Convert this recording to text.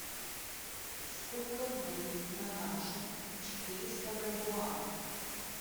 сколько будет на наши четыреста бальбоа